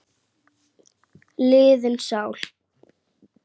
liðin sál.